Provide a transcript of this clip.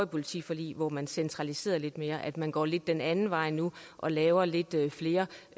politiforlig hvor man centraliserede lidt mere altså at man går lidt den anden vej nu og laver lidt flere